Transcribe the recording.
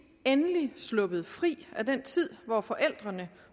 endelig sluppet fri af den tid hvor forældrene